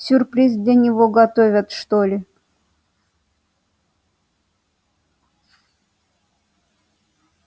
сюрприз для него готовят что ли